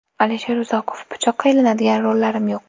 Alisher Uzoqov: Pichoqqa ilinadigan rollarim yo‘q.